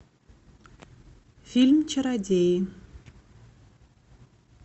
фильм чародеи